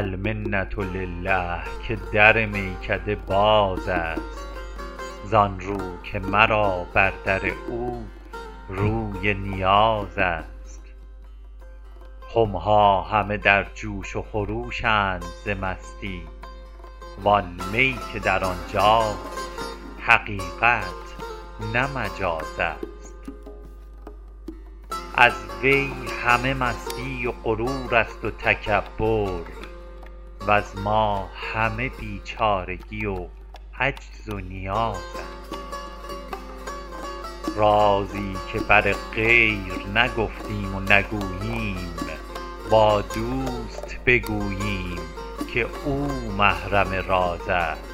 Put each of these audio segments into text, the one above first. المنة لله که در میکده باز است زان رو که مرا بر در او روی نیاز است خم ها همه در جوش و خروش اند ز مستی وان می که در آن جاست حقیقت نه مجاز است از وی همه مستی و غرور است و تکبر وز ما همه بیچارگی و عجز و نیاز است رازی که بر غیر نگفتیم و نگوییم با دوست بگوییم که او محرم راز است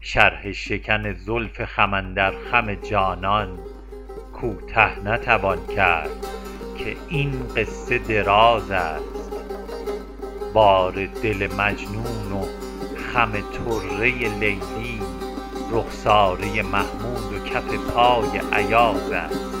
شرح شکن زلف خم اندر خم جانان کوته نتوان کرد که این قصه دراز است بار دل مجنون و خم طره لیلی رخساره محمود و کف پای ایاز است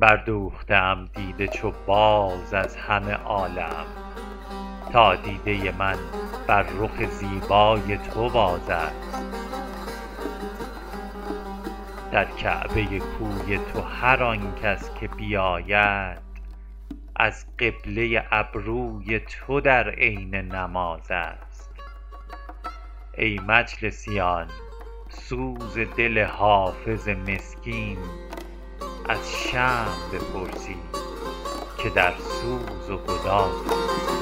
بردوخته ام دیده چو باز از همه عالم تا دیده من بر رخ زیبای تو باز است در کعبه کوی تو هر آن کس که بیاید از قبله ابروی تو در عین نماز است ای مجلسیان سوز دل حافظ مسکین از شمع بپرسید که در سوز و گداز است